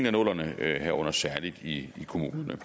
af nullerne herunder særlig i kommunerne